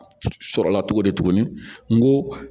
Sɔrɔla cogo di tuguni n ko